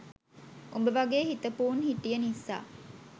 උඹ වගේ හිතපු උන් හිටිය නිසා